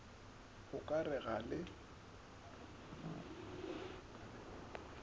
o ka re ga le